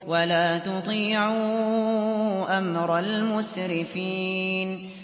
وَلَا تُطِيعُوا أَمْرَ الْمُسْرِفِينَ